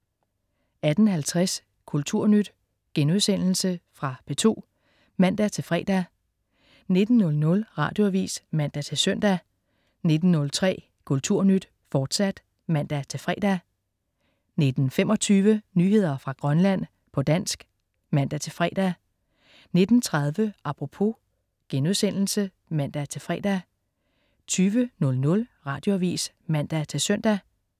18.50 Kulturnyt.* Fra P2 (man-fre) 19.00 Radioavis (man-søn) 19.03 Kulturnyt, fortsat (man-fre) 19.25 Nyheder fra Grønland, på dansk (man-fre) 19.30 Apropos* (man-fre) 20.00 Radioavis (man-søn)